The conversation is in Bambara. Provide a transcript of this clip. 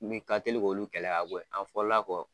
Min ka teli k'olu kɛlɛ ka bɔ ye an fɔlɔ la kɔ